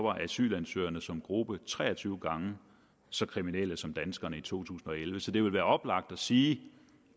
at asylansøgerne som gruppe var tre og tyve gange så kriminelle som danskerne i to tusind og elleve så det vil være oplagt at sige at